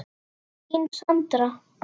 Þín Sandra.